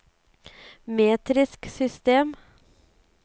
metrisk system